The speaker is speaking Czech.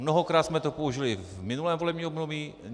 Mnohokrát jsme to použili v minulém volebním období.